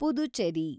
Puducherry